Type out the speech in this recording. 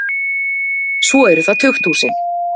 Svo eru það tukthúsin.